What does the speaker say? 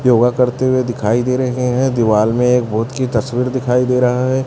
योगा करते हुए दिखाई दे रहे हैं। दीवाल में एक भूत की तस्वीर दिखाई दे रहा है।